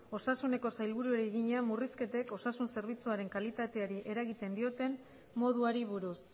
osasuneko sailburuari egina murrizketek osasun zerbitzuaren kalitateari eragiten dioten moduari buruz